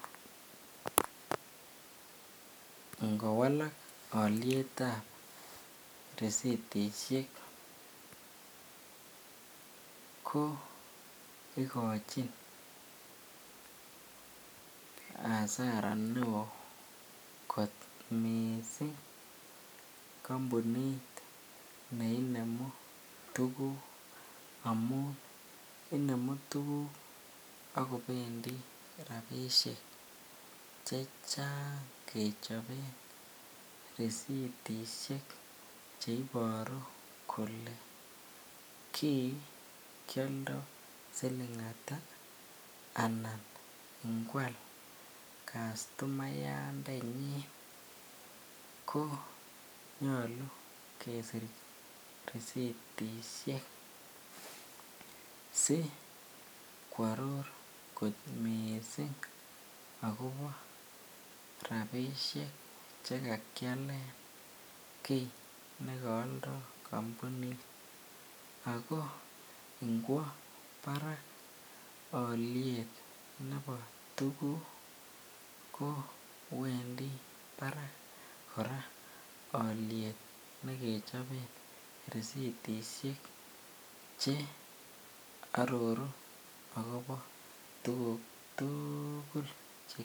Ingowalak olietab risitishek ko ikochin asara neoo kot mising kombunit neinemu tukuk amun inemu tukuk ak kobendi rabishek hechang kechoben risitishek cheiboru kolee kii kioldo silingata anan ingwal customayandenyin ko nyolu kesir risiytishek si kworor kot mising akobo rabishek chekakielen kii neko oldo kombunit ak ko ingwo barak oliet nebo tukuk ko wendi barak kora oliet nekechoben risitishek che ororu akobo tukuk tukul.